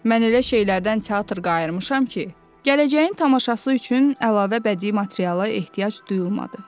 Mən elə şeylərdən teatr qayırmışam ki, gələcəyin tamaşası üçün əlavə bədii materiala ehtiyac duyulmadı.